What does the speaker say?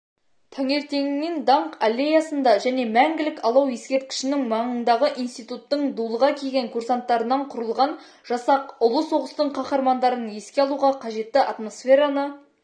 таңертеңінен даңқ аллеясында және мәңгілік алау ескерткішінің маңындағы институттың дулыға киген курсанттарынан құрылған жасақ ұлы соғыстың қаһармандарын еске алуға қажетті атмосфераны